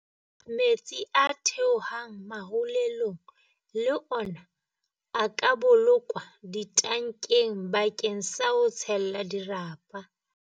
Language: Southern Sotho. Metsi a theohang marulelong le ona a ka bolokwa ditankeng bakeng sa ho tshella dirapa.